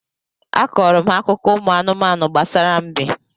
A kọọrọ m ha akụkọ ụmụ anụmanụ gbasara mbe